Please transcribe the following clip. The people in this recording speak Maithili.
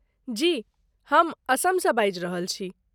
जी, हम असमसँ बाजि रहल छी।